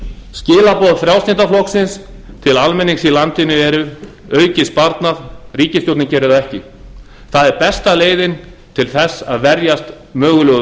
skilaboð frjálslynda flokksins til almennings í landinu eru aukið sparnað ríkisstjórnin gerir það ekki það er besta leiðin til þess að verjast mögulegu